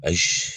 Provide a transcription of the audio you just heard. Ayi